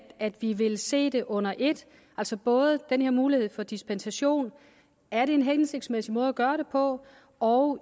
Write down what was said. at vi vil se det under et altså både om den her mulighed for dispensation er en hensigtsmæssig måde at gøre det på og